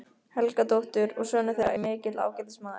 Helgadóttur, og sonur þeirra er mikill ágætismaður.